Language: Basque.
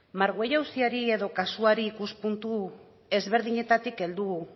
margüello auziari edo kasuari ikuspuntu ezberdinetatik heldu